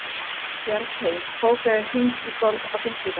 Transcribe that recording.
Bjargheiður, bókaðu hring í golf á fimmtudaginn.